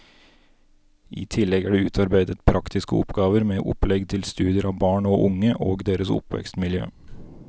I tillegg er det utarbeidet praktiske oppgaver med opplegg til studier av barn og unge og deres oppvekstmiljø.